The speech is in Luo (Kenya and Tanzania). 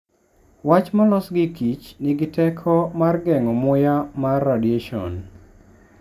Wach molos gi Kich nigi teko mar geng'o muya mar radiation.